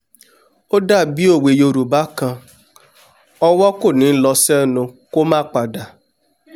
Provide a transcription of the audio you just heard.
ó dàbí òwe yorùbá kan "ọwọ́ kò ní lọ sẹ́nu kó má padà"